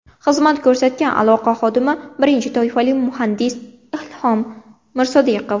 Xizmat ko‘rsatgan aloqa xodimi, birinchi toifali muhandis Ilhom Mirsodiqov.